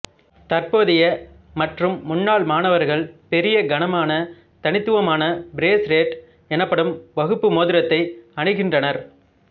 தற்போதைய மற்றும் முன்னாள் மாணவர்கள் பெரிய கனமான தனித்துவமான பிரேஸ் ரேட் எனப்படும் வகுப்பு மோதிரத்தை அணிகின்றனர்